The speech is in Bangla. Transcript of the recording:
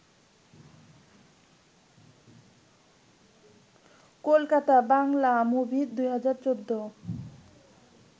কলকাতা বাংলা মুভি ২০১৪